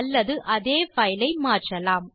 அல்லது அதே பைலை மாற்றலாம்